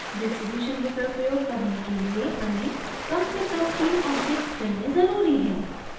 distribution विकल्प प्रयोग करने के लिए हमें कम से कम तीन objects चुनने ज़रूरी हैं